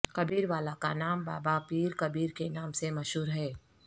کبیروالا کا نام بابا پیر کبیر کے نام سے مشہور ہے